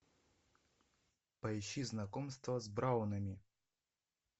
поищи знакомство с браунами